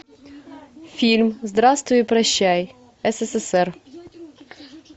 фильм здравствуй и прощай ссср